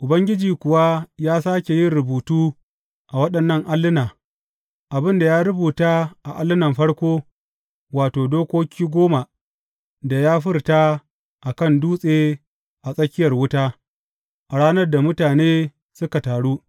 Ubangiji kuwa ya sāke yin rubutu a waɗannan alluna abin da ya rubuta a allunan farko, wato, Dokoki Goma da ya furta a kan dutse a tsakiyar wuta, a ranar da mutane suka taru.